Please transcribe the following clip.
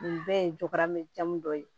Nin bɛɛ ye jagokɛlamɛn dɔ ye